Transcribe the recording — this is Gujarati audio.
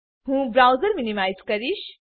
હું બ્રાઉઝર મીનીમાઈઝ કરીશ